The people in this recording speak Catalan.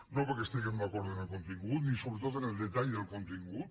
no perquè estiguem d’acord en el contingut ni sobretot en el detall del contingut